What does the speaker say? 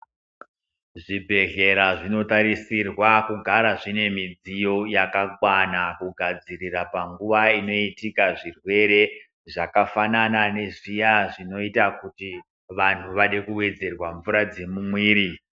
Zvibhedhlera zvinotarisirwa kugara zvine midziyo yakakwana kugadzirira panguwa inoitika zvirwere zvakafanana nezviya zvinoita kuti vanhu vadebkuwedzerwa mvura dzemuviri.